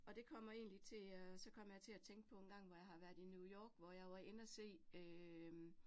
Og det kommer egentlig til at, så kommer jeg til at tænke på engang, hvor jeg har været i New York, hvor jeg var inde at se øh